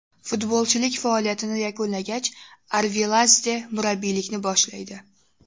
Futbolchilik faoliyatini yakunlagach, Arveladze murabbiylikni boshlaydi.